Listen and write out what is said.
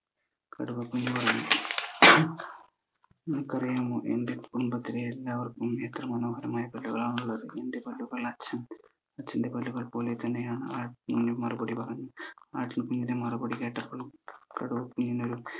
നിനക്കറിയാമോ എന്റെ കുടുംബത്തിലെ എല്ലാവർക്കും എത്ര മനോഹരമായ പല്ലുകളാണ് ഉള്ളത് എന്ന് എന്റെ പല്ലുകൾ അച്ഛൻ അച്ഛന്റെ പല്ലുകൾ പോലെ തന്നെയാണ് ആ കുഞ് മറുപടി പറഞ്ഞു മറുപടി കേട്ടപ്പോൾ കടുവ കുഞ്ഞിനൊരു